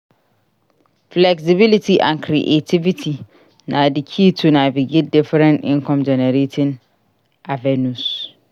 Flexibility and creativity na di key to navigate different income-generating avenues.